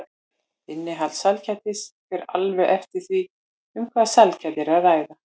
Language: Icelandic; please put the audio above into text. Innihald sælgætis fer alveg eftir því um hvaða sælgæti er að ræða.